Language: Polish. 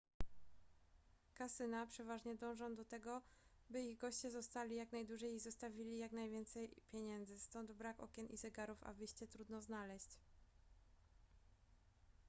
kasyna przeważnie dążą do tego by ich goście zostali jak najdłużej i zostawili jak najwięcej pieniędzy stąd brak okien i zegarów a wyjście trudno znaleźć